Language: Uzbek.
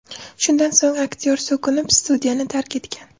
Shundan so‘ng aktyor so‘kinib, studiyani tark etgan.